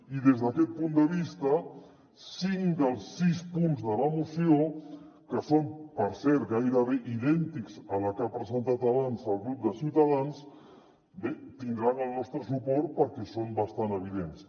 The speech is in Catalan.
i des d’aquest punt de vista cinc dels sis punts de la moció que són per cert gairebé idèntics a la que ha presentat abans el grup de ciutadans bé tindran el nostre suport perquè són bastant evidents